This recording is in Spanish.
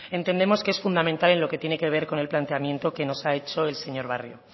entendemos que es fundamental en lo que tiene que ver con el planteamiento que nos ha hecho el señor barrio